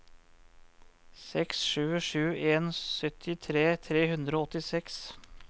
seks sju sju en syttitre tre hundre og åttiseks